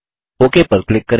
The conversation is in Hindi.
ओक पर क्लिक करें